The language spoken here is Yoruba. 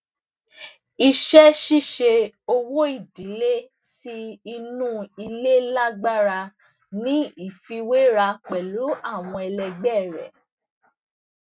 iṣẹṣiṣe owóìdílé ti inú ilé lágbára ní ìfiwéra pẹlú àwọn ẹlẹgbẹ rẹ